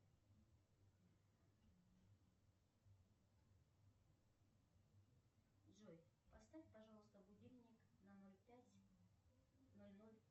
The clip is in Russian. джой поставь пожалуйста будильник на ноль пять ноль ноль